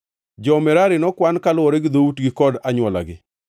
Jo-Merari nokwan kaluwore gi dhoutgi kod anywolagi.